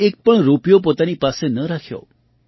તેમણે એક પણ રૂપિયો પોતાની પાસે ન રાખ્યો